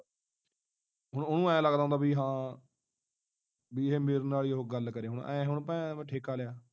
ਹੁਣ ਉਹਨੂੰ ਐ ਲੱਗਦਾ ਹੁੰਦਾ ਬਈ ਹਾਂ ਬਈ ਇਹ ਮੇਰੇ ਨਾਲ ਹੀ ਉਹ ਗੱਲ ਕਰੇ ਹੁਣ ਐ ਹੁਣ ਠੇਕਾ ਲਿਆ।